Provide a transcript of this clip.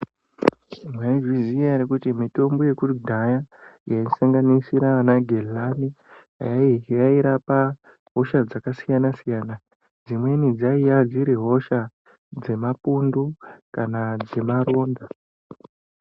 Mwaizviziya ere kuti mitombo yekudhaya yaisanganisira anagezani yairapa hosha dzakasiyana siyana dzimweni dzaiya dziri hosha dzemapundu kana dzema maronda.